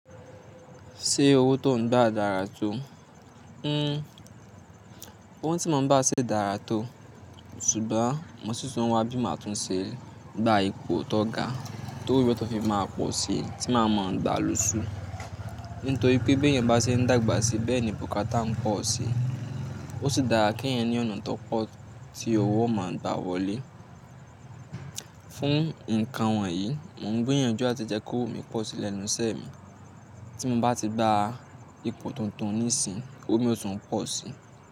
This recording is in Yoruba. Ṣé owó tó n gbà dára tó? Hmm owó tí mo n gbà ṣé dára tó, ṣùgbọ́n mo sì tún wá bí máa tún ṣe gba ipò tó ga tó wó mi fi tun máa pọ̀ si tí máa mọ̀ọ́ gbà lóṣù. Nítorí pé bí èèyàn bá ṣe n dàgbà sí bẹ́ẹ̀ ni bùkátà ń pọ̀ si, ó sì dára kí èèyàn ní ọ̀nà tó pọ̀ tí owó máa n gbà wọlé. Fún ǹkan wọ̀nyí, mò n gbìyànjú láti jẹ́ kó owó mi pọ̀ sí lẹ́nu iṣẹ́ mi. Tí mo bá ti gba ipò tuntun nísìnyí owó mi ó tún pọ̀ si.